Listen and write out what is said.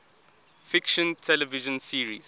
fiction television series